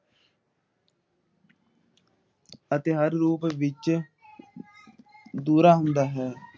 ਅਤੇ ਹਰ ਰੂਪ ਵਿਚ ਦੂਹਰਾ ਹੁੰਦਾ ਹੈ ।